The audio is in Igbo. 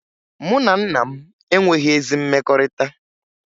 Mụ na nna m enweghi ezi mmekọrịta